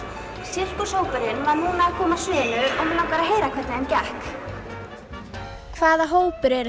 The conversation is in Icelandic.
sirkushópurinn var núna að koma af sviðinu og mig langar að heyra hvernig þeim gekk hvaða hópur eruð